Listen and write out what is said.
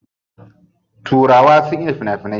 Turawa sun iya fina finai.